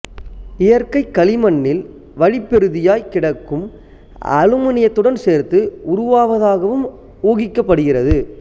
இயற்கை களிமண்ணில் வழிப்பெறுதியாக கிடைக்கும் அலுமினியத்துடன் சேர்ந்து உருவாவதாகவும் ஊகிக்கப்படுகிறது